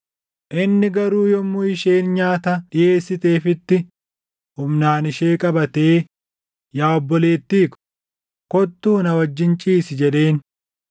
Inni garuu yommuu isheen nyaata dhiʼeessiteefitti humnaan ishee qabatee, “Yaa obboleettii ko, kottuu na wajjin ciisi” jedheen.